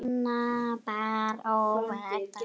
Hana bar óvænt að.